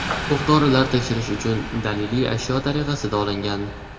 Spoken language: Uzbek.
O‘q-dorilar tekshirish uchun daliliy ashyo tariqasida olingan.